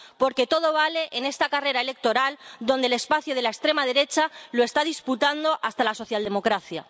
Porque todo vale en esta carrera electoral donde el espacio de la extrema derecha lo está disputando hasta la socialdemocracia.